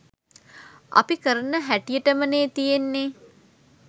අපි කරන හැටියටමනේ තියෙන්නෙ